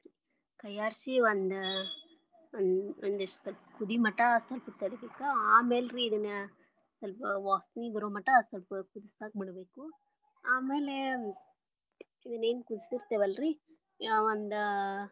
ಕೈಯಾಡಿಸಿ ಒಂದ್ ಒಂದಿಷ್ಟ ಸ್ವಲ್ಪ ಕುದಿ ಮಠ ಸ್ವಲ್ಪ ತಡಿಬೇಕ ಆಮ್ಯಾಲ ರೀ ಇದನ್ನ ಸ್ವಲ್ಪ ವಾಸನಿ ಬರೋಮಟ ಸ್ವಲ್ಪ ಕುದಸಾಕ ಬಿಡಬೇಕು ಆಮೇಲೆ ಇದನ್ನ ಏನ ಕುದಿಸಿರತೆವಲ್ಲ ರೀ, ಒಂದಾ.